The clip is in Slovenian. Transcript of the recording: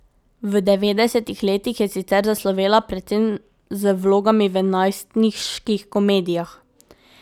V devetdesetih letih je sicer zaslovela predvsem z vlogami v najstniških komedijah.